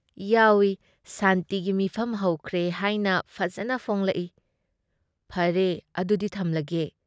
ꯌꯥꯎꯏ꯫ ꯁꯥꯟꯇꯤꯒꯤ ꯃꯤꯐꯝ ꯍꯧꯈ꯭ꯔꯦ ꯍꯥꯏꯅ ꯐꯖꯅ ꯐꯣꯡꯂꯛꯏ ꯫ ꯐꯔꯦ ꯑꯗꯨꯨꯗꯤ ꯊꯝꯂꯒꯦ ꯫